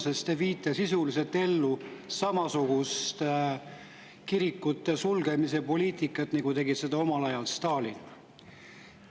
Sest te viite sisuliselt ellu samasugust kirikute sulgemise poliitikat, nagu omal ajal tegi Stalin.